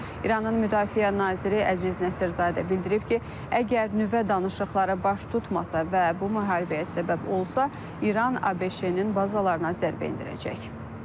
İranın Müdafiə naziri Əziz Nəsirzadə bildirib ki, əgər nüvə danışıqları baş tutmasa və bu müharibəyə səbəb olsa, İran ABŞ-nin bazalarına zərbə endirəcək.